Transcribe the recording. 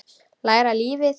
Læra lífið.